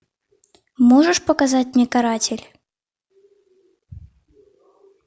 можешь показать мне каратель